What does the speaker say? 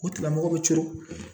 O tigilamɔgɔ bɛ coolo